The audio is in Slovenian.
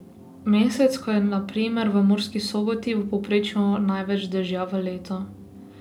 Mesec, ko je na primer v Murski Soboti v povprečju največ dežja v letu.